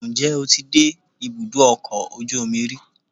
njẹ o tí dé ibudọ ọkọ ojú omí rí?